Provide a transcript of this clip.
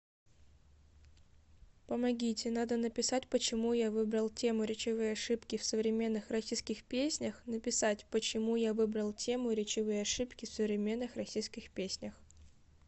помогите надо написать почему я выбрал тему речевые ошибки в современных российских песнях написать почему я выбрал тему речевые ошибки в современных российских песнях